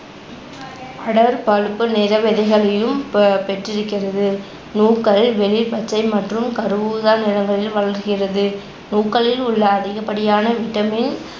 அடற்பழுப்பு நிற ப~பெற்றிருக்கிறது. நூக்கள் வெளிர்பச்சை மற்றும் கருஊதா நிறங்களில் வளர்கிறது. நூக்களில் உள்ள அதிகபடியான vitamin